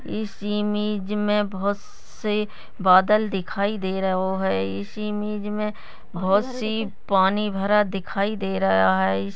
इस इमेज मे बहुत से बादल दिखाई दे रहो है इस इमेज मे बहुत सी पानी भरा दिखाई दे रहा है।